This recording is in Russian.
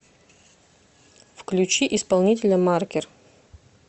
включи исполнителя маркер